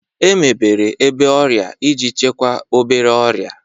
Emebere ebe ọrịa iji chịkwaa obere ọrịa